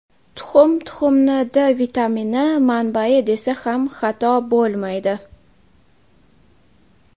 Tuxum Tuxumni D vitamini manbayi desa ham xato bo‘lmaydi.